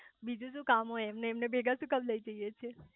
બીજું શુ કામ હોય એમને ભેગા શુ કામ લઇ જઇયે છે